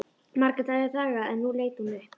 Margrét hafði þagað en nú leit hún upp.